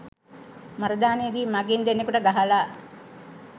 මරදානේදී මඟීන් දෙන්නකුට ගහලා